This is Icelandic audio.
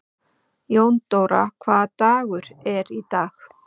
Jóndóra, hvaða dagur er í dag?